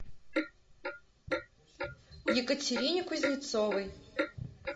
екатерине кузнецовой